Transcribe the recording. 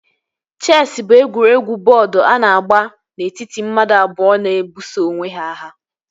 Chesị bụ egwuregwu bọọdu a na-agba n'etiti mmadụ abụọ na-ebuso onwe ha agha